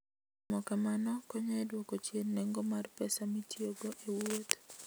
Timo kamano konyo e dwoko chien nengo mar pesa mitiyogo e wuoth.